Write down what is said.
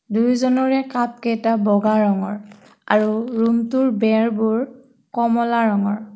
দুয়োজনৰে কাপকেইটা বগা ৰঙৰ আৰু ৰোমটোৰ বেৰবোৰ কমলা ৰঙৰ।